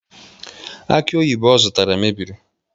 Aki oyibo ọ zụtara mebiri